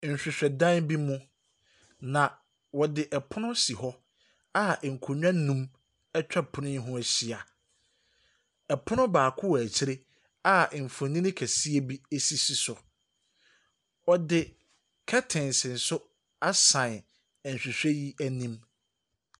Nhwehwɛdan bi mu, na wɔde pono ɛsi hɔ a nkonbwa mmienu atwa pono ne ho ahyia. Pono baako wɔ akyire a mfonin kɛseɛ bi ɛsi so. Ɔde curtains nso asan nhwehwɛ yi anim.